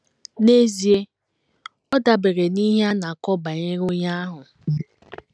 N’ezie, ọ dabeere n’ihe a na - akọ banyere onye ahụ.